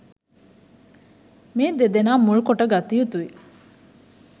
මේ දෙදෙනා මුල් කොට ගත යුතුයි.